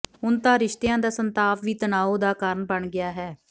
ਹੁਣ ਤਾਂ ਰਿਸ਼ਤਿਆਂ ਦਾ ਸੰਤਾਪ ਵੀ ਤਣਾਓ ਦਾ ਕਾਰਨ ਬਣ ਗਿਆ ਹੈ